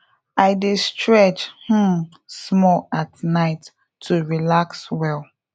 i dey stretch um small at night to relax well